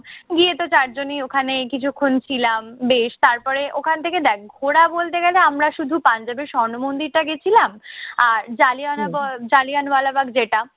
গিয়েতো চারজনই ওখানে কিছুক্ষণ ছিলাম বেশ। তারপরে ওখান থেকে দেখ ঘুরা বলতে গেলে আমরা শুধু পাঞ্জাবে স্বর্ণ মন্দিরটায় গেছিলাম আর জালিয়ানাব জানিয়ানওয়ালাবাগ যেটা